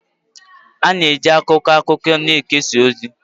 A na-eji akwụkwọ akụkọ na-ekesa ozi.